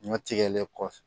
Ɲɔ tigɛlen kɔfɛ